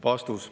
" Vastus.